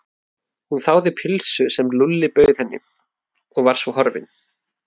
Hún þáði pylsu sem Lúlli bauð henni og var svo horfin.